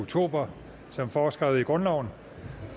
oktober som foreskrevet i grundloven